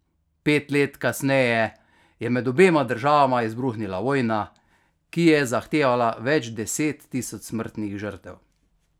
Pet let kasneje je med obema državama izbruhnila vojna, ki je zahtevala več deset tisoč smrtnih žrtev.